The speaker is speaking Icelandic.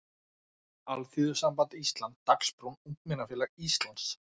Alþýðusamband Íslands, Dagsbrún, Ungmennafélag Íslands.